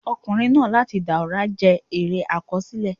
"Ọkùnrin náà láti Dàùra" jẹ́ eré àkọsílẹ̀.